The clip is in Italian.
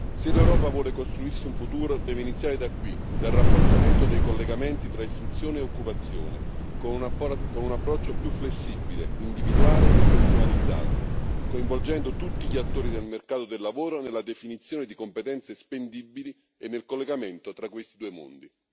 Se l'Europa vuole costruirsi un futuro, deve iniziare da qui, dal rafforzamento dei collegamenti tra istruzione e occupazione, con un approccio più flessibile, individuale e personalizzato, coinvolgendo tutti gli attori del mercato del lavoro nella definizione di competenze spendibili e nel collegamento tra questi due mondi.